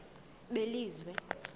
belizwe